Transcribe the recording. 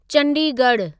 चंडीगढ़ु